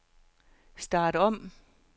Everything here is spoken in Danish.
start om